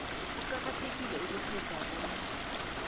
kuqakathekile ukutjheja bona